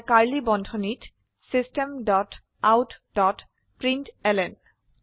এটা কাৰ্ড়লী বান্ধনীত system dot out dot println